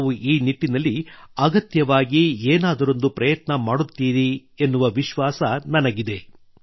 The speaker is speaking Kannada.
ತಾವು ಈ ನಿಟ್ಟಿನಲ್ಲಿ ಅಗತ್ಯವಾಗಿ ಏನಾದರೊಂದು ಪ್ರಯತ್ನ ಮಾಡುತ್ತೀರಿ ಎನ್ನುವ ವಿಶ್ವಾಸ ನನಗಿದೆ